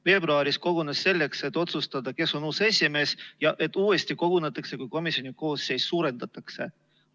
Veebruaris kogunes selleks, et otsustada, kes on uus esimees ja et uuesti kogunetakse, kui komisjoni koosseisu suurendatakse.